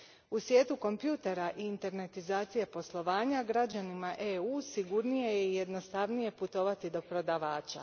U svijetu kompjutera i internetizacije poslovanja, građanima EU a sigurnije je i jednostavnije putovati do prodavača.